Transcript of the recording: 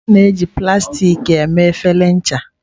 A na-eji plastik mee efere ncha.